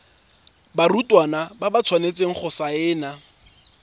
barutwana ba tshwanetse go saena